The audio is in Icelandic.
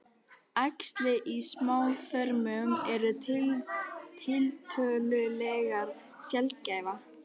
Æxli í smáþörmum eru tiltölulega sjaldgæf.